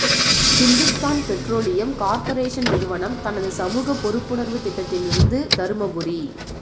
Hindustan petroleum corporation நிறுவனம் தனது சமூகப் பொறுப்புணர்வுத் திட்டத்திலிருந்து தருமபுரி